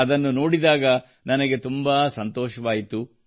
ಅದನ್ನು ನೋಡಿದಾಗ ನನಗೆ ತುಂಬಾ ಸಂತೋಷವಾಯಿತು